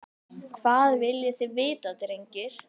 Hvað viljið þið vita drengir?